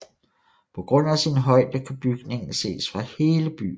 På grund af sin højde kan bygningen ses fra hele byen